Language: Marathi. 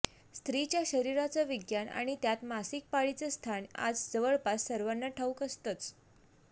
स्त्रीच्या शरीराचं विज्ञान आणि त्यात मासिक पाळीचं स्थान आज जवळपास सर्वांना ठाऊक असतंच